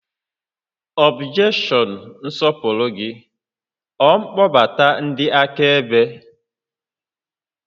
Ọbjekshọn nsọpụrụ gị, ọ mkpọbata ndị akaebe?